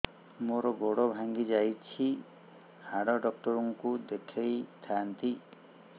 ମୋର ଗୋଡ ଭାଙ୍ଗି ଯାଇଛି ହାଡ ଡକ୍ଟର ଙ୍କୁ ଦେଖେଇ ଥାନ୍ତି